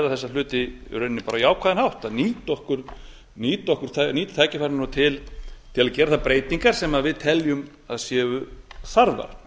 þessa hluti á jákvæðan hátt að nýta tækifærin til að gera þær breytingar sem við teljum að séu þarfar